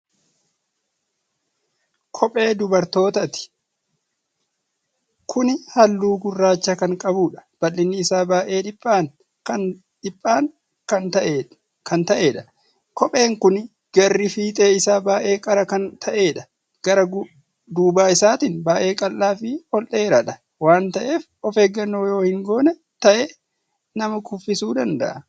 Kophee dubartootaati. kopheen Kuni halluu gurraacha kan qabuudha. bal'inni Isaa baay'ee dhiphaan Kan ta'eedha. kopheen Kuni garri fiixee isaa baay'ee qara Kan ta'eedha. gara duuba isaatiin baay'ee qal'aa Fi ol-dheeraadha waan ta'eef ofeeggannoo yoo hin goone ta'e nama kuffisu danda'a.